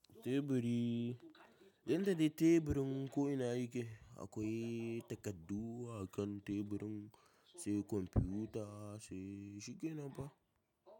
Teburi, yanda dai teburin ko ina yake akwai takaddun a kan teburin, sai kwamfuta sai shigenan fa.